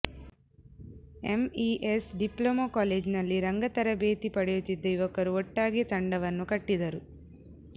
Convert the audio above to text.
MES diploma ಕಾಲೇಜಿನಲ್ಲಿ ರಂಗತರಬೇತಿ ಪಡೆಯುತ್ತಿದ್ದ ಯುವಕರು ಒಟ್ಟಾಗಿ ತಂಡವನ್ನು ಕಟ್ಟಿದರು